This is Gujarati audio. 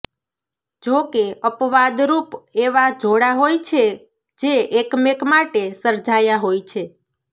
જોકે અપવાદરૂપ એવાં જોડાં હોય છે જે એકમેક માટે સર્જાયાં હોય છે